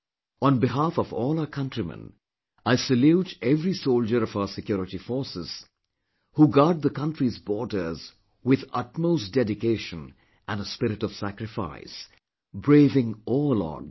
On behalf of all our countrymen, I salute every soldier of our security forces who guard the country's borders with utmost dedication and a spirit of sacrifice, braving all odds